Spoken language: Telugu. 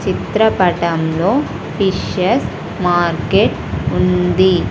చిత్రపటంలో ఫిషెస్ మార్కెట్ ఉంది.